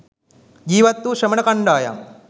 ජීවත් වූ ශ්‍රමණ කණ්ඩායම්